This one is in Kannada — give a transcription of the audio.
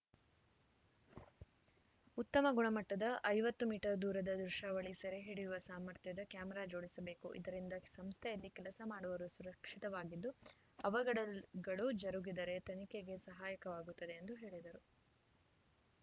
ಉತ್ತಮ ಗುಣಮಟ್ಟದ ಐವತ್ತು ಮೀಟರ್ ದೂರದ ದೃಶ್ಯಾವಳಿ ಸೆರೆ ಹಿಡಿಯುವ ಸಾಮರ್ಥ್ಯದ ಕ್ಯಾಮೆರಾ ಜೋಡಿಸಬೇಕು ಇದರಿಂದ ಸಂಸ್ಥೆಯಲ್ಲಿ ಕೆಲಸ ಮಾಡುವವರು ಸುರಕ್ಷಿತವಾಗಿದ್ದು ಅವಘಡಗಳು ಜರುಗಿದರೆ ತನಿಖೆಗೆ ಸಹಾಯಕವಾಗುತ್ತದೆ ಎಂದು ಹೇಳಿದರು